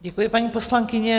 Děkuji, paní poslankyně.